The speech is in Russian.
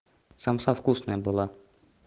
самса вкусная была